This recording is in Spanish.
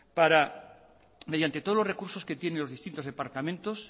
mediante todos los recursos que tienen los distintos departamentos